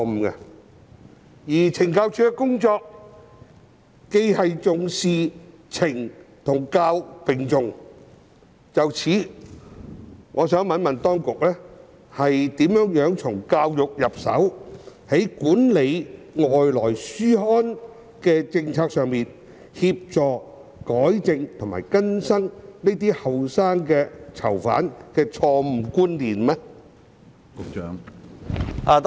由於懲教署的工作懲教並重，我想詢問當局如何從教育着手，在管理外來書刊的政策方面協助年輕囚犯糾正錯誤觀念？